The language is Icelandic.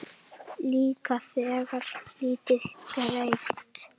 Líka þegar lítið gerist.